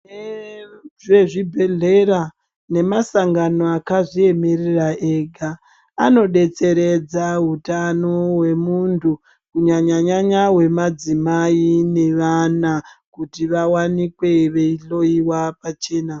Vezve zvibhedhlera ne masangano akazvi emerera ega ano detseredza hutano hwe muntu ku nyanya nyanya hwe madzimai ne vana kuti vawanikwe vei hloyiwa pachena.